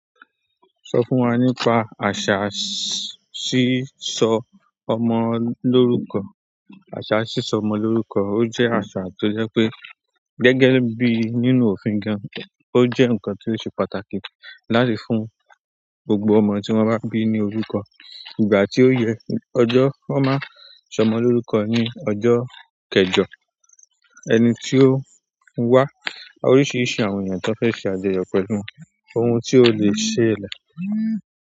Sọ fún wa nípa àṣà sísọ ọmọ lórúkọ. Àṣà sísọ ọmọ lórúkọ, ó jẹ́ àṣà tó jẹ́ pé gẹ́gẹ́ bí nínú òfin gan, ó jẹ́ nǹkan tó ṣe pàtàkì láti fún gbogbo ọmọ tí wọ́n bá bí ní orúkọ. Ìgbà tí ó yẹ, ọjọ́ wọ́n máa sọ ọmọ lórúkọ ní ọjọ́ kẹjọ. Ẹni tí ó ń wá, oríṣiríṣi àwọn èèyàn tó fẹ́ ṣe àjọyọ̀ pẹ̀lú wọn, ohun tí ó lè ṣe ẹ̀lẹ̀.